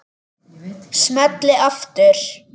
Smelli aftur.